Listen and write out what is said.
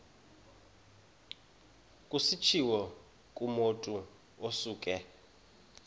kutshiwo kumotu osuke